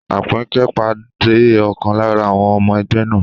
Àpínkẹ́ pàdé ọ̀kan lára àwọn ọmọ ẹgbẹ́ náà